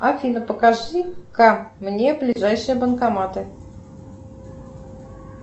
афина покажи ко мне ближайшие банкоматы